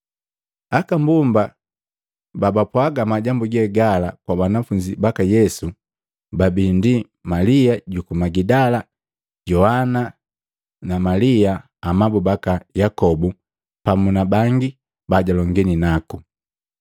Aka mbomba babapwaaga majambu ge gala kwa banafunzi baka Yesu, babii Malia juku Magidala, Yoana na Malia amabu baka Yakobu pamu na bangi bajalongini naku.